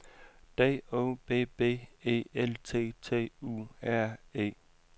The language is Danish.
D O B B E L T T U R E